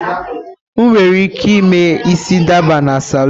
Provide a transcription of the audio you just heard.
Ị nwere ike ime isi dada na salụn.